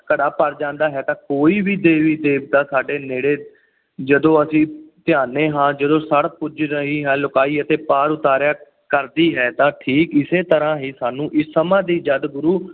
ਘੜਾ ਭਰ ਜਾਂਦਾ ਹੈ ਤਾਂ ਕੋਈ ਵੀ ਦੇਵੀ ਦੇਵਤਾ ਸਾਡੇ ਨੇੜੇ ਜਦੋਂ ਅਸੀਂ ਧਿਆਂਦੇ ਹਾਂ ਜਦੋਂ ਸੜ ਭੁਜ ਰਹੀ ਹੈ ਲੁਕਾਈ ਅਤੇ ਪਾਰ ਉਤਾਰਾ ਕਰਦੀ ਹੈ ਤਾਂ ਠੀਕ ਇਸੇ ਤਰ੍ਹਾਂ ਹੀ ਸਾਨੂੰ ਇਸ ਸਮਾਂ ਸੀ ਜਦ ਗੁਰੂ